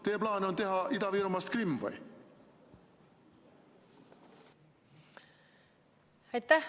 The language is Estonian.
Kas teie plaan on teha Ida-Virumaast Krimm või?